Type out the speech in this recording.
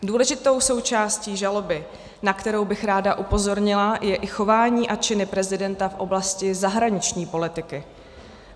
Důležitou součástí žaloby, na kterou bych ráda upozornila, je i chování a činy prezidenta v oblasti zahraniční politiky.